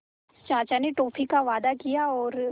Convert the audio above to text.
चाचा ने टॉफ़ी का वादा किया और